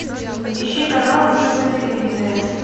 ищи канал ник на телевизоре